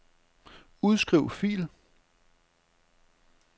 Udskriv fil.